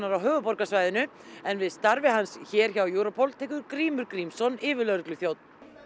á höfuðborgarsvæðinu en við starfi hans hér hjá Europol tekur Grímur Grímsson yfirlögregluþjónn